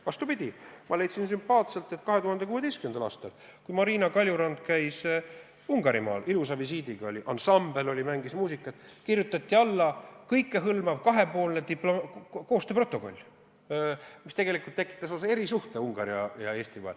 Vastupidi, ma leidsin sümpaatselt, et 2016. aastal, kui Marina Kaljurand käis Ungarimaal ilusal visiidil – ansambel mängis muusikat –, kirjutati alla kõikehõlmav kahepoolne koostööprotokoll, mis tegelikult tekitas Ungari ja Eesti vahel lausa erisuhte.